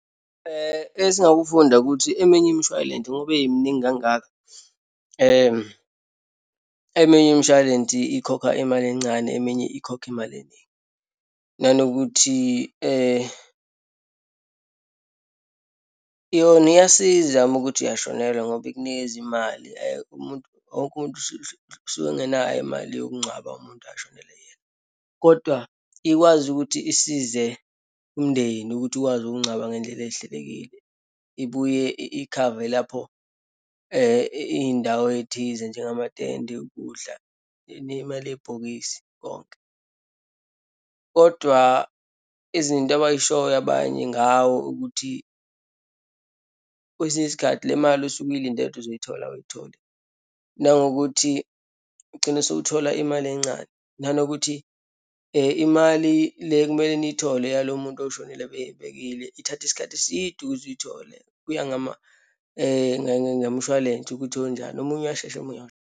Esingakufunda ukuthi eminye imishwalense ngoba iminingi kangaka. Eminye imishwalensi ikhokha imali encane, eminye ikhokha imali eningi. Nanokuthi yona iyasiza uma ukuthi uyashonelwa ngoba ikunikeze imali. Umuntu, wonke umuntu usuke engenayo imali yokungcwaba umuntu ashonelwe iyena. Kodwa ikwazi ukuthi isize umndeni ukuthi ukwazi ukungcwaba ngeyindlela eyihlelekile. Ibuye ikhave lapho iyindawo eyithize, njengematende, ukudla, nemali yebhokisi konke. Kodwa izinto abayishoyo abanye ngawo ukuthi, kwesinye isikhathi le mali osuke iyilindele ukuthi uzoyithola, awuyitholi, nangokuthi ugcine usowuthola imali encane, nanokuthi imali le ekumele niyithole yalowo muntu oshonile abeyibekile ithatha isikhathi eside ukuze uyithole. Kuya ngemshwalense ukuthi wonjani, omunye uyashesha, omunye .